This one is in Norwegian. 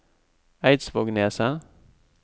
Eidsvågneset